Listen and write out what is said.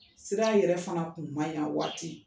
Sira yɛrɛ fana kun ma ɲi a waati.